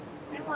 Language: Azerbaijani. Hardansız?